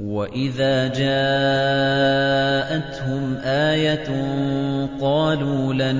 وَإِذَا جَاءَتْهُمْ آيَةٌ قَالُوا لَن